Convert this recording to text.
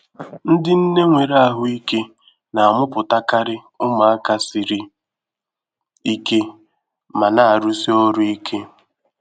Ndị nne nwere ahụike na-amụpụtakari ụmụaka siri ike ma na-arụsi ọrụ ike.